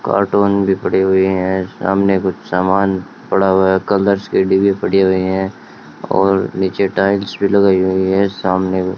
cartoon लिपड़ी हुई है सामने कुछ समान पड़ा हुआ है कलर्स के डिब्बे पड़े हुए है और नीचे टाइल्स भी लगाई हुई है सामने --